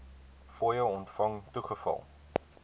fooie ontvang toegeval